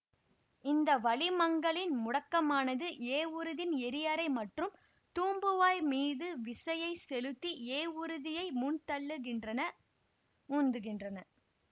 இந்த வளிமங்களின் முடுக்கமானது ஏவூர்தியின் எரிஅறை மற்றும் தூம்புவாய் மீது விசையை செலுத்தி ஏவூர்தியை முன்தள்ளுகின்றனஉந்துகின்றன